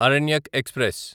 Aranyak express